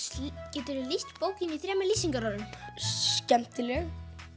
geturðu lýst bókinni í þremur lýsingarorðum skemmtileg